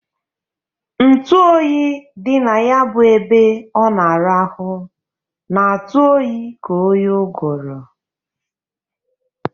Ntu oyi dị na ya bụ ebe ọ na-arahụ na-atụ oyi ka oyi ụgụrụ.